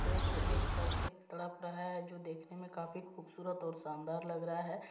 देखो एक कर के तड़प रहा है जो देखने में काफी खूबसूरत और शानदार लग रहा है।